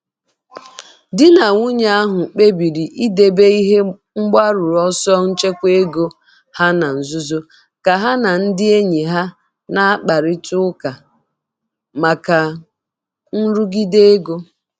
Di na nwunye ahụ kpebiri idebe ihe mgbaru ọsọ nchekwa ego ha na nzuzo ka ha na ndị enyi ha na-akparịta ụka maka nrụgide ego.